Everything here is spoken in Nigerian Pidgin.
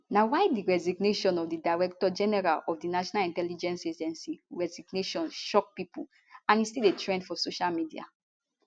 na why di resignation of di director general of di national intelligence agency resignation shock pipo and e still dey trend for social media